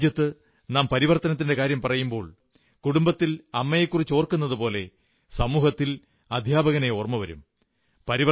നമ്മുടെ രാജ്യത്ത് നാം പരിവർത്തനത്തിന്റെ കാര്യം പറയുമ്പോൾ കുടുംബത്തിൽ അമ്മയെക്കുറിച്ചോർക്കുന്നതുപോലെ സമൂഹത്തിൽ അധ്യാപകനെ ഓർമ്മ വരും